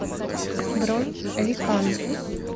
бронь ликан